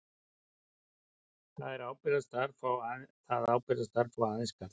Það ábyrgðarstarf fá aðeins karlar.